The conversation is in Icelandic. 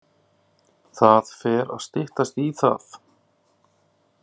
Það fer að styttast í það.